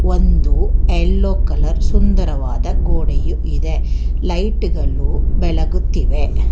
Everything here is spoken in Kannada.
ಒಂದು ಯಲ್ಲೋ ಕಲರ್ ಸುಂದರವಾದ ಗೋಡೆಯು ಇದೆ ಲೈಟ್ ಗಲು ಬೆಲಗುತ್ತಿವೆ.